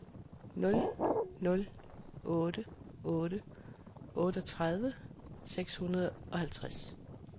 nul nul otte otte otteogtredive seks hundrede og halvtreds